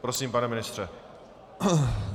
Prosím, pane ministře.